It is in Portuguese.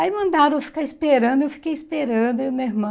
Aí mandaram eu ficar esperando, eu fiquei esperando, eu e meu irmão.